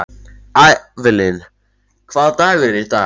Avelin, hvaða dagur er í dag?